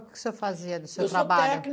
O que o senhor fazia do seu trabalho? Eu sou técnico